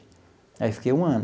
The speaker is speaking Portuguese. Aí, eu fiquei um ano.